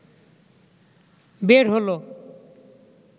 বের হলো